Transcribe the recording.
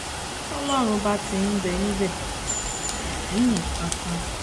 tọ́lọ́run bá ti ńbẹ níbẹ̀ kò sí nǹkan kan